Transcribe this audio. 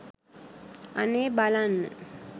අනේ බලන්න